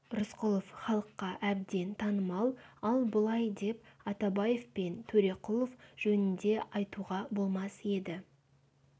рысқұлов халыққа әбден танымал ал бұлай деп атабаев пен төреқұлов жөнінде айтуға болмас еді